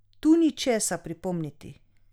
Tu ni česa pripomniti.